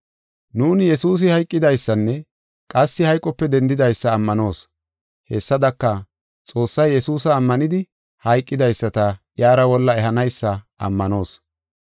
Nuuni, Yesuusi hayqidaysanne qassi hayqope dendidaysa ammanoos. Hessadaka, Xoossay Yesuusa ammanidi hayqidaysata iyara wolla ehanaysa ammanoos.